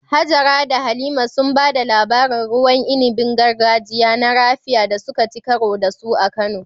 Hajara da Halima sun ba da labarin ruwan inibin gargajiya na "Raphia" da suka ci karo da su a Kano.